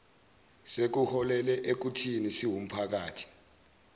sekuholele ekuthini siwumphakathi